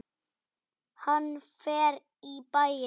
Hann fer í bæinn!